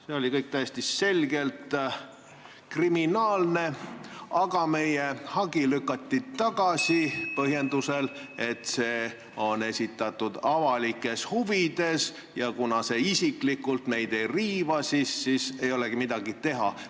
See oli kõik täiesti selgelt kriminaalne, aga meie hagi lükati tagasi põhjendusega, et see on esitatud avalikes huvides ja kuna see meid isiklikult ei riiva, siis ei olegi midagi teha.